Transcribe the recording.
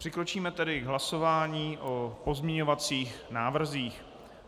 Přikročíme tedy k hlasování o pozměňovacích návrzích.